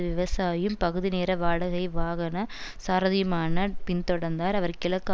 விவசாயும் பகுதிநேர வாடகை வாகன சாரதியுமான பின்தொடர்ந்தார் அவர் கிழக்கு